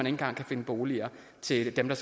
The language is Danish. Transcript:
engang kan finde boliger til dem der